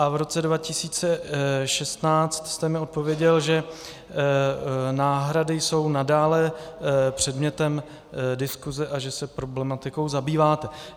A v roce 2016 jste mi odpověděl, že náhrady jsou nadále předmětem diskuse a že se problematikou zabýváte.